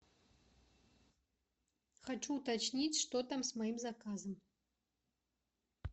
хочу уточнить что там с моим заказом